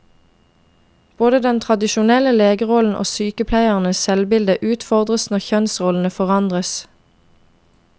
Både den tradisjonelle legerollen og sykepleiernes selvbilde utfordres når kjønnsrollene forandres.